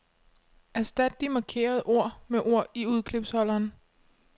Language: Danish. Erstat de markerede ord med ord i udklipsholderen.